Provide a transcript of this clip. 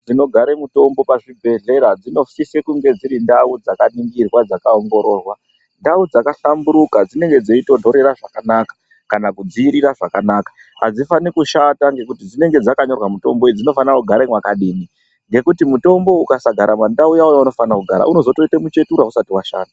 Dzinogara mitombo pachibhedhlera dzinosisa kunge dzirindau dzakaningirwa dzakaongororwa . Ndau dzakahlamburuka dzinenge dzeitontorera zvakanaka kana kudziirira zvakanaka. Hadzifani kushata ngekuti dzinenge dzakanyorwa mitombo idzi dzinofana kugara mwakadini. Ngekuti mutombo ukasagara pandau yaunofana kugara unozoita muchetura usati washanda.